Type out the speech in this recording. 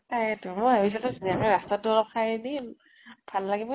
তাকেতো, মই ভাবিছিলো ধুনীয়াকে ৰাস্তাতো অলপ সাৰি দিম, ভাল লাগিব